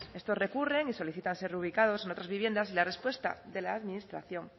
estos recurren y solicitan ser reubicados en otras viviendas y la respuesta de la administración